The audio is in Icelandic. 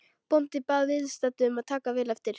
Bóndinn bað viðstadda að taka vel eftir.